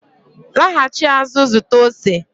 laghachi azụ zụta ose